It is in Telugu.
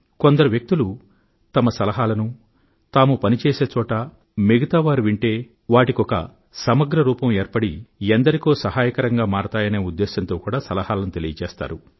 కొందరు వ్యక్తులు వారి సలహాలను వారు పని చేసే చోట మిగతా వారు వింటే వాటికి ఒక సమగ్ర రూపం ఏర్పడి ఎందరికో సహాయకరంగా మారతాయనే ఉద్దేశంతో కూడా సలహాలను తెలియచేస్తారు